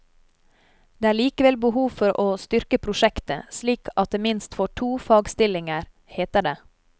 Det er likevel behov for å styrke prosjektet, slik at det minst får to fagstillinger, heter det.